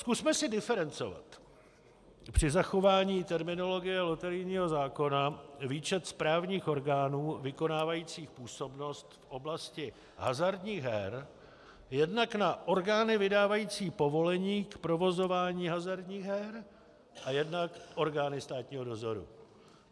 Zkusme si diferencovat při zachování terminologie loterijního zákona výčet správních orgánů vykonávajících působnost v oblasti hazardních her jednak na orgány vydávající povolení k provozování hazardních her a jednak orgány státního dozoru.